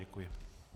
Děkuji.